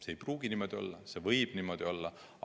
See ei pruugi niimoodi olla, see võib niimoodi olla.